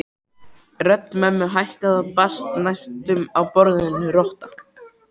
Rödd mömmu hækkaði og brast næstum á orðinu rotta